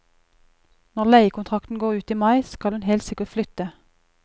Når leiekontrakten går ut i mai, skal hun helt sikkert flytte.